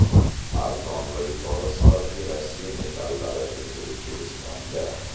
Arzon va yuqori sifatli Rossiya metallari endi O‘zbekistonda!.